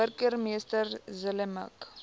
burgemeester zille mik